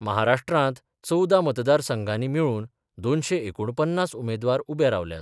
महाराष्ट्रांत चवदा मतदार संघानी मेळुन दोनशे एकुण पन्नास उमेदवार उबे रावल्यात.